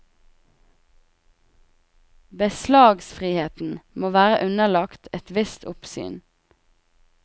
Beslagsfriheten må være underlagt et visst oppsyn.